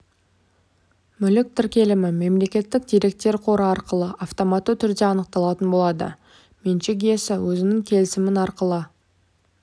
мүлік тіркелімі мемлекеттік деректер қоры арқылы автоматты түрде анықталатын болады меншік иесі өзінің келісімін арқылы